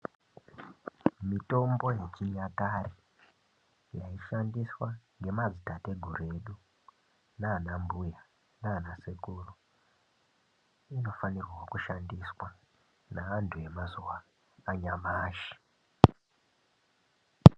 Mitombo yechinyakare yaishandiswa ngemadzitateguru edu nanambuya nanasekuru, inofanirwawo kushandiswa neantu emazuwa anyamashi.